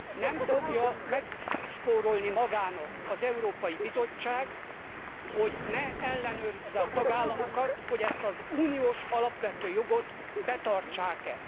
Nem fogja megspórolni magának az Európai Bizottság, hogy ne ellenőrizze a tagállamokat, hogy ezt az uniós alapvető jogot betartják e.